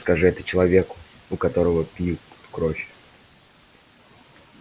скажи это человеку у которого пьют кровь